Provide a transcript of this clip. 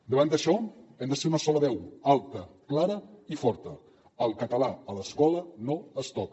davant d’això hem de ser una sola veu alta clara i forta el català a l’escola no es toca